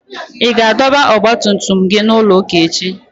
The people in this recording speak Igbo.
Ị ga-adọba ọgba tum tum gị n'ụlọ ụka echi?